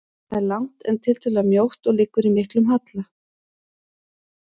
Það er langt, en tiltölulega mjótt og liggur í miklum halla.